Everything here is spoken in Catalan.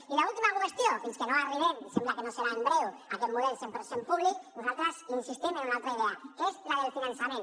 i l’última qüestió fins que no arribem em sembla que no serà en breu a aquest model cent per cent públic nosaltres insistim en una altra idea que és la del finançament